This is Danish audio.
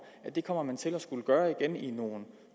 at det kommer man til at skulle gøre igen i nogle